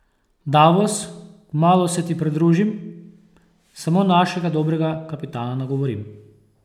Davos, kmalu se ti pridružim, samo našega dobrega kapitana nagovorim.